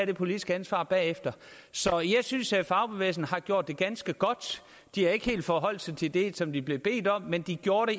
det politiske ansvar bagefter så jeg synes at fagbevægelsen har gjort det ganske godt de har ikke helt forholdt sig til det som de blev bedt om men de gjorde